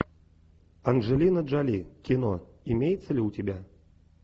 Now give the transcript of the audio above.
анджелина джоли кино имеется ли у тебя